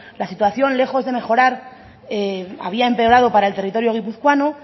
la situación lejos de mejorar había empeorado para el territorio guipuzcoano